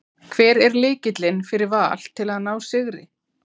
Hver er lykillinn fyrir Val til að ná sigri?